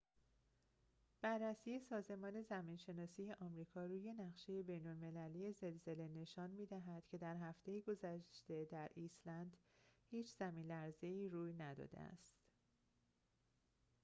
بررسی سازمان زمین‌شناسی آمریکا روی نقشه بین‌المللی زلزله نشان می‌دهد که در هفته گذشته در ایسلند هیچ زمین‌لرزه‌ای روی نداده است